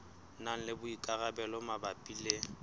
na le boikarabelo mabapi le